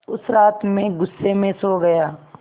उस रात मैं ग़ुस्से में सो गया